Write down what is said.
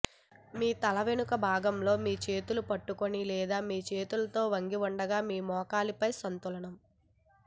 మీ తల వెనుక భాగంలో మీ చేతులు పట్టుకొని లేదా మీ చేతులతో వంగి ఉండగా ఒక మోకాలిపై సంతులనం